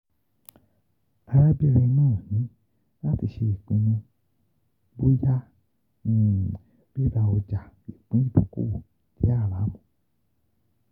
Arabinrin naa ni lati se ipinnu boya RIRA OJA IPIN IDOKOWO JE HARAMU